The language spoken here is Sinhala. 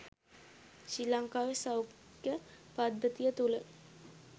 ශ්‍රී ලංකාවේ සෞඛ්‍ය පද්ධතිය තුළ